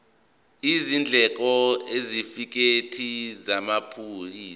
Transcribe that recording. izindleko isitifikedi samaphoyisa